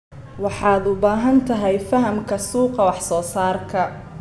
Waxaad u baahan tahay fahamka suuqa wax soo saarka.